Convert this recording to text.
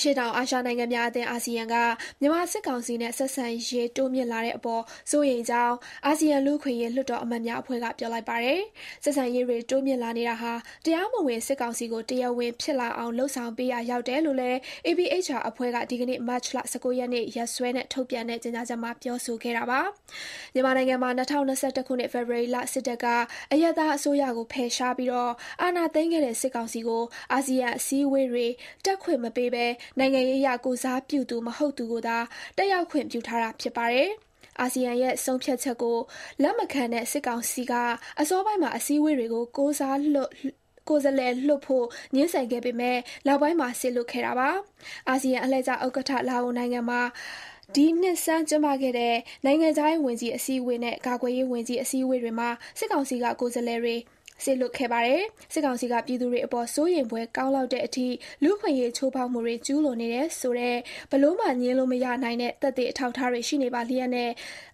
ရှေ့တောင်အာရှနိုင်ငံများအသင်း အာဆီယံက မြန်မာစစ်ကောင်စီနဲ့ ဆက်ဆံရေး တိုးမြှင့်လာတဲ့အပေါ် စိုးရိမ်ကြောင်း အာဆီယံလူ့အခွင့်အရေး လွှတ်တော်အမတ်များအဖွဲ့က ပြောလိုက်ပါတယ်။ ဆက်ဆံရေးတွေ တိုးမြှင့်လာနေတာဟာ တရားမဝင် စစ်ကောင်စီကို တရားဝင်ဖြစ်လာအောင် လုပ်ဆောင်ပေးရာ ရောက်တယ်လို့လည်း APHR အဖွဲ့က ဒီကနေ့ မတ်လ ၁၉ ရက်နေ့ ရက်စွဲနဲ့ ထုတ်ပြန်တဲ့ ကြေညာချက်မှာ ပြောဆိုခဲ့တာပါ။ မြန်မာနိုင်ငံမှာ ၂၀၂၁ ခုနှစ် ဖေဖော်ဝါရီလ စစ်တပ်က အရပ်သားအစိုးရကို ဖယ်ရှားပြီး အာဏာသိမ်းခဲ့တဲ့ စစ်ကောင်စီကို အာဆီယံအစည်းအဝေးတွေ တက်ခွင့်မပေးဘဲ နိုင်ငံရေးအရ ကိုယ်စားပြုသူ မဟုတ်သူကိုသာ တက်ရောက်ခွင့် ပြုထားတာ ဖြစ်ပါတယ်။ အာဆီယံရဲ့ ဆုံးဖြတ်ချက်ကို လက်မခံတဲ့ စစ်ကောင်စီက အစောပိုင်းမှာ အစည်းအဝေးတွေကို ကိုယ်စားလှယ်လွှတ်ဖို့ ငြင်းဆန်ခဲ့ပေမဲ့ နောက်ပိုင်းမှာ စေလွှတ်ခဲ့တာပါ။ အာဆီယံ အလှည့်ကျဥက္ကဋ္ဌ လာအိုနိုင်ငံမှာ ဒီနှစ်ဆန်း ကျင်းပခဲ့တဲ့ နိုင်ငံခြားရေး ဝန်ကြီး အစည်းအဝေးနဲ့ ကာကွယ်ရေးဝန်ကြီး အစည်းအဝေးတွေမှာ စစ်ကောင်စီက ကိုယ်စားလှယ်တွေ စေလွှတ်ခဲ့ပါတယ်။ စစ်ကောင်စီက ပြည်သူတွေအပေါ် စိုးရိမ်ဖွယ်ကောင်းလောက်တဲ့အထိ လူ့အခွင့်အရေးချိုးဖောက်မှုတွေ ကျူးလွန်နေတယ်ဆိုတဲ့ ဘယ်လိုမှ ငြင်းလို့မရနိုင်တဲ့ သက်သေ အထောက်အထားတွေ ရှိနေပါလျက်နဲ့